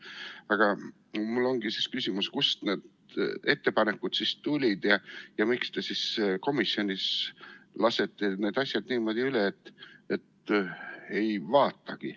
Aga mul ongi küsimus, et kust need ettepanekud siis tulid ja miks te siis komisjonis lasete need asjad niimoodi üle, et ei vaatagi.